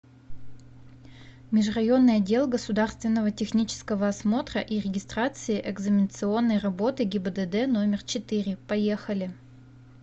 межрайонный отдел государственного технического осмотра и регистрации экзаменационной работы гибдд номер четыре поехали